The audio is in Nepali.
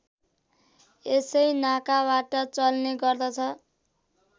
यसै नाकाबाट चल्ने गर्दछ